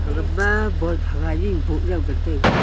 gama bulb hagai u bow jaw ngan taiga.